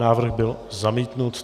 Návrh byl zamítnut.